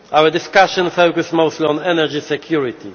Our discussion focused mostly on energy security.